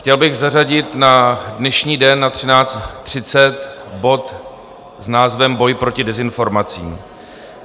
Chtěl bych zařadit na dnešní den na 13.30 bod s názvem Boj proti dezinformacím.